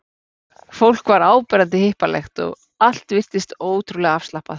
Fólk var áberandi hippalegt og allt virtist ótrúlega afslappað.